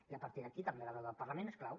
i a partir d’aquí també la del parlament és clau